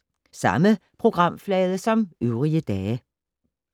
Samme programflade som øvrige dage